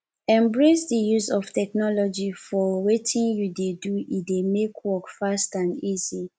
embrace di use of technology for wetin you dey do e dey make work fast and easy